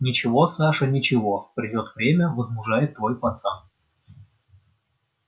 ничего саша ничего придёт время возмужает твой пацан